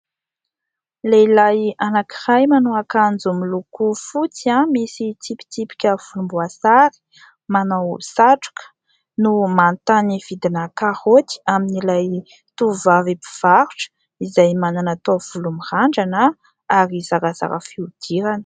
Lehilahy anankiray manao akanjo miloko fotsy misy tsipitsipika volomboasary, manao satroka no manontany vidina karaoty amin'ilay tovovavy mpivarotra izay manana taovolo mirandrana ary zarazara fihodirana.